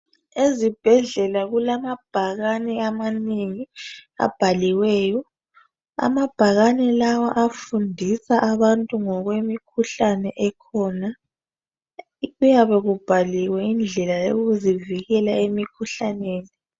Ezibhedlela kulamabhakani amanengi abhaliweyo amabhakani lawa afundisa abantu ngokwemikhuhlane ekhona kuyabe kubhaliwe indlela yokuzivikela emkhuhlaneni